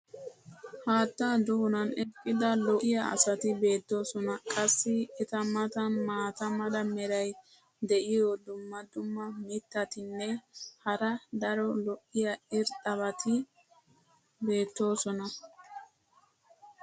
haattaa doonan eqqida lo'iya asati beetoosona. qassi eta matan maata mala meray diyo dumma dumma mitatinne hara daro lo'iya irxxabati beettoosona.